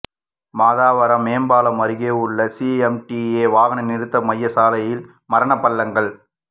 மாதவரம் மேம்பாலம் அருகே உள்ள சிஎம்டிஏ வாகன நிறுத்த மைய சாலையில் மரண பள்ளங்கள்